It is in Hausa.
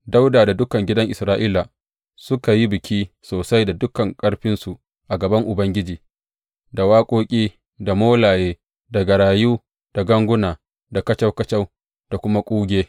Dawuda da dukan gidan Isra’ila suka yi biki sosai da dukan ƙarfinsu a gaban Ubangiji, da waƙoƙi, da molaye, da garayu, da ganguna, da kacau kacau da kuma kuge.